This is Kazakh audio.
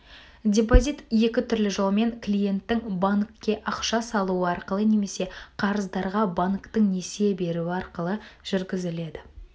депозит екі түрлі жолмен клиенттің банкке ақша салуы арқылы немесе қарыздарға банктің несие беруі арқылы жүргізіледі